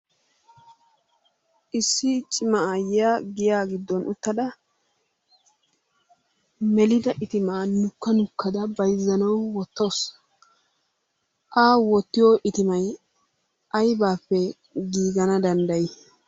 Issi cimma aayiya giya giddon uttada melidda ittimaa nukka nukkada bayzzanawu woottawusu. A wottiyo ittimmay aybappe gigana danddayi?